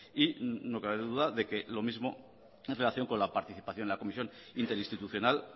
y no cabe la menor duda de que lo mismo en relación con la participación de la comisión interinstitucional